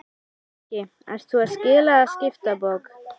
Breki: Ert þú að skila eða skipta bók?